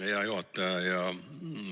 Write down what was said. Hea juhataja!